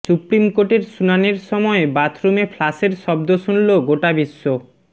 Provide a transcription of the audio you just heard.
supreme কোর্টের শুনানির সময় বাথরুমে ফ্লাশের শব্দ শুনল গোটা বিশ্ব